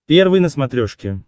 первый на смотрешке